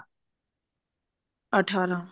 18